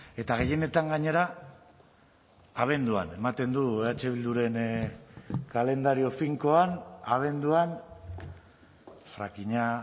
eta gehienetan gainera abenduan ematen du eh bilduren kalendario finkoan abenduan frakinga